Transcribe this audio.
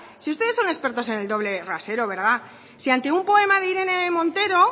si ustedes son expertos en el doble rasero si ante un poema de irene montero